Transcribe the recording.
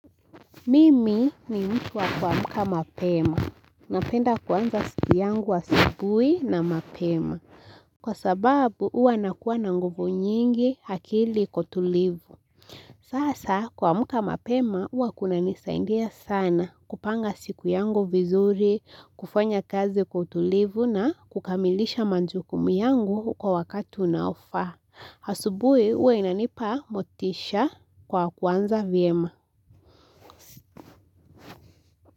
Mimi ni mtu wa kuamka mapema. Napenda kuanza siku yangu asubuhi na mapema. Kwa sababu huwa nakuwa na nguvu nyingi akili iko tulivu. Sasa kuamka mapema huwa kunanisaindia sana kupanga siku yangu vizuri, kufanya kazi kwa utulivu na kukamilisha majukumu yangu kwa wakati unaofaa. Asubuhi huwa inanipa motisha kwa kwanza vyema.